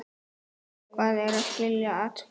Hvað er að skilja atburð?